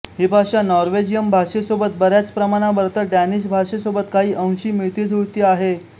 ही भाषा नॉर्वेजियन भाषेसोबत बऱ्याच प्रमाणावर तर डॅनिश भाषेसोबत काही अंशी मिळतीजुळती आहे